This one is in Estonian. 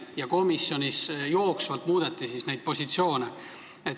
Ja komisjonis muudeti jooksvalt positsioone.